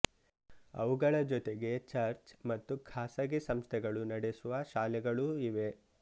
ಅವುಗಳ ಜೊತೆಗೆ ಚರ್ಚ್ ಮತ್ತು ಖಾಸಗಿ ಸಂಸ್ಥೆಗಳು ನಡೆಸುವ ಶಾಲೆಗಳೂ ಇವೆ